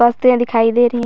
औस्तें दिखाई दे रहीं ह --